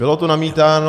Bylo tu namítáno -